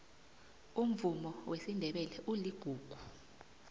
umvumo wesindebele uligugu